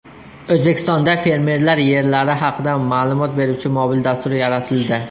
O‘zbekistonda fermerlar yerlari haqida ma’lumot beruvchi mobil dastur yaratildi.